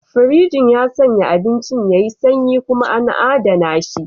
Firinji ya sanya abincin yayi sanyi kuma an adana shi.